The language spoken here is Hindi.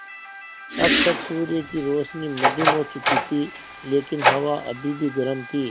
अब तक सूर्य की रोशनी मद्धिम हो चुकी थी लेकिन हवा अभी भी गर्म थी